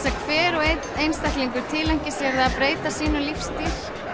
að hver og einn einstaklingur tileinki sér að breyta sínum lífsstíl